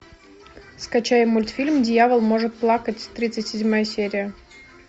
скачай мультфильм дьявол может плакать тридцать седьмая серия